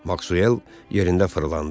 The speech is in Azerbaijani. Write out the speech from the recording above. Maksuel yerində fırlandı.